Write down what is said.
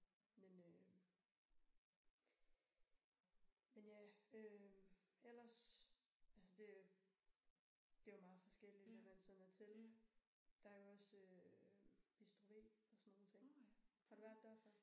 Men øh men ja øh ellers altså det det jo meget forskelligt hvad man sådan er til der er jo også øh bistro v og sådan nogle ting. Har du været der før?